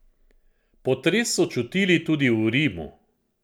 Potres so čutili tudi v Rimu.